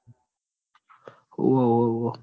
હોવ હોવ